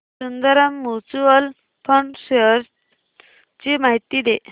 Sundaram mutual fund shares ची माहिती दे